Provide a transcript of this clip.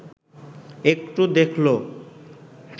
একটু দেখল